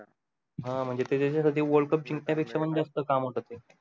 हं म्हणजे ते त्याचा साठी world cup जिंक्यण्या पेक्षा पण जास्त काम होत ते